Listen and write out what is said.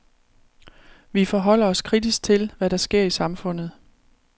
Vi forholder os kritisk til, hvad der sker i samfundet.